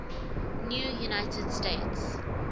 new united states